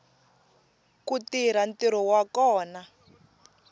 ku tirha ntirho wa kona